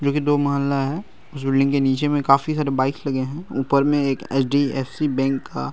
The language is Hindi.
जोकि दो महल्ला है। इस बिल्डिंग के नीचे में काफी सारे बाइकस लगे हैं। ऊपर में एक एच.डी.एफ.सी. बैंक का --